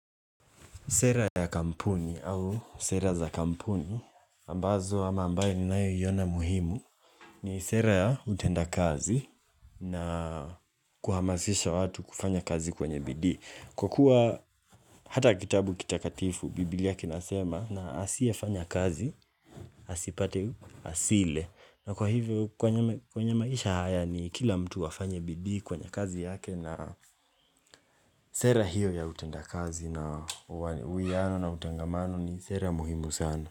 Sera ya kampuni au sera za kampuni, ambazo ama ambayo ni nayo yona muhimu, ni sera ya utenda kazi na kuhamazisha watu kufanya kazi kwenye bidii. Kwa kuwa hata kitabu kitakatifu, Biblia kinasema na asiye fanya kazi, asipate asile. Na kwa hivyo kwenye maisha haya ni kila mtu afanye bidii kwenye kazi yake na sera hiyo ya utenda kazi na wiyano na utangamano ni sera muhimu sana.